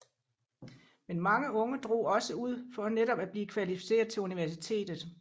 Men mange unge drog også ud for netop at blive kvalificeret til universitetet